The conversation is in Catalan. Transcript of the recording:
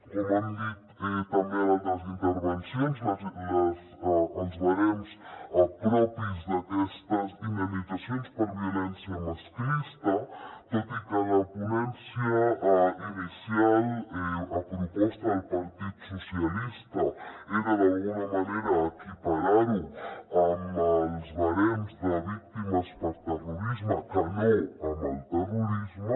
com han dit també en altres intervencions els barems propis d’aquestes indemnitzacions per violència masclista tot i que a la ponència inicial a proposta del partit socialista era d’alguna manera equiparar ho amb els barems de víctimes per terrorisme que no amb el terrorisme